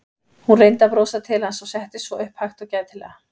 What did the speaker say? Hún reyndi að brosa til hans og settist svo upp hægt og gætilega.